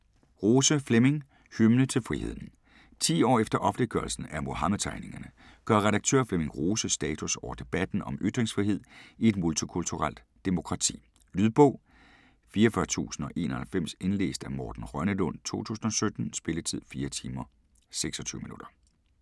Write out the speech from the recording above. Rose, Flemming: Hymne til friheden Ti år efter offentliggørelsen af Muhammedtegningerne gør redaktør Flemming Rose status over debatten om ytringsfrihed i et multikulturelt demokrati. Lydbog 44091 Indlæst af Morten Rønnelund, 2017. Spilletid: 4 timer, 26 minutter.